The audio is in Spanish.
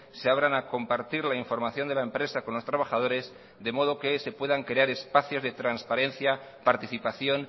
se abran a compartir la información de la empresa con los trabajadores de modo que se puedan crear espacios de transparencia participación